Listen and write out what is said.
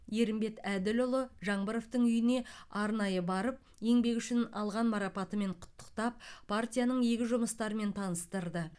ерімбет әділұлы жаңбыровтың үйіне арнайы барып еңбегі үшін алған марапатымен құттықтап партияның игі жұмыстарымен таныстырды